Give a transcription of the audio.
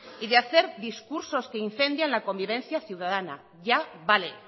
y de hacer discursos que incendian la convivencia ciudadana ya vale